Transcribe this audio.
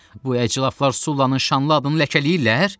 Bu əclaf Sullanın şanlı adını ləkələyirlər?